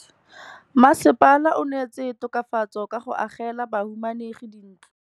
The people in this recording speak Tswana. Mmasepala o neetse tokafatsô ka go agela bahumanegi dintlo.